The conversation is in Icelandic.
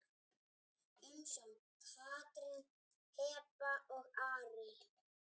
Umsjón Katrín, Heba og Ari.